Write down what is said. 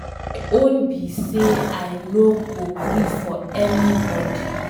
My own be say I no go gree for anybody.